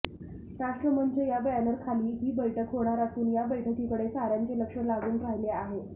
राष्ट्रमंच या बॅनरखाली ही बैठक होणार असून या बैठकीकडे साऱ्यांचे लक्ष लागून राहिले आहे